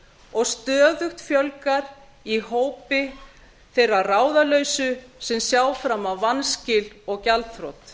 og stöðugt fjölgar í hópi þeirra ráðalausu sem sjá fram á vanskil og gjaldþrot